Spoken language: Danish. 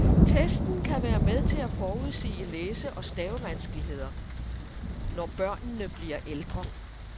Testen kan være med til at forudsige læse- og stavevanskeligheder, når børnene bliver ældre.